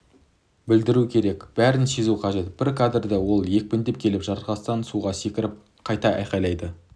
білдіру керек бәрін сезу қажет бір кадрда ол екпіндеп келіп жартастан суға секіріп қайта айқайлайды